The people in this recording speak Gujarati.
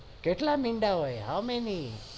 કેટલા મીંડા હોય હ મીની